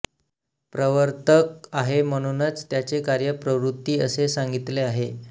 प्रवर्तक आहे म्हणुनच त्याचे कार्य प्रवृत्ति असे सांगितले आहे